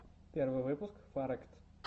первый выпуск фарэкт